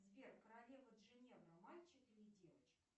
сбер королева джиневра мальчик или девочка